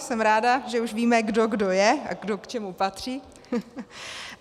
Jsem ráda, že už víme kdo kdo je a kdo k čemu patří.